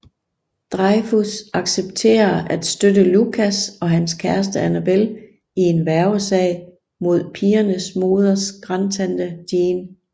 Dreyfuss accepterer at støtte Lucas og hans kæreste Annabel i en værgesag mod pigernes moders grandtante Jean